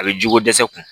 A bɛ ji ko dɛsɛ kun